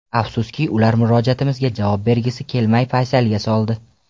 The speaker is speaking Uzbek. Afsuski, ular murojaatimizga javob bergisi kelmay, paysalga soldi.